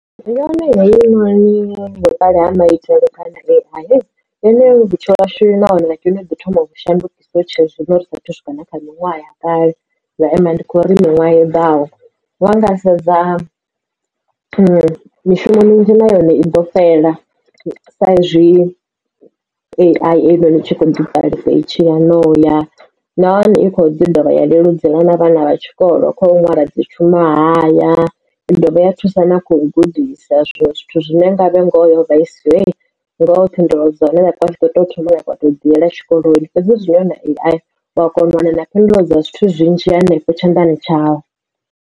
Yone heinoni vhuṱali ha maitele kha dzi A_I yone vhutshilo hashu nahone yono ḓi thoma u vhu shandukisa hu tshe zwino ri saathu u swika na kha miṅwaha ya kale vha amba ndi kho ri miṅwaha i ḓaho wanga sedza mishumo minzhi na yone i ḓo fhela sa izwi A_I. Iyi no ni i tshi kho ḓihulesa itshiya no uya na hone i kho ḓi dovha ya leludzela na vhana vha tshikolo kho nwala dzi tshuṅwahaya ya dovha ya thusa na kho gudisa zwinwe zwithu zwine nga vhe ngoho yo vha i siho ngoho phindulo dza hone vhathu vha tshi ḓoto u thoma wa tou dzi yela tshikoloni fhedzi zwino huna A_I u a kona u wana na phindulo dza zwithu zwinzhi hanefho tshanḓani tshau.